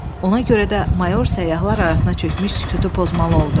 Ona görə də mayor səyyahlar arasına çökmüş sükutu pozmalı oldu.